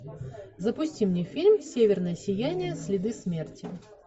запусти мне фильм северное сияние следы смерти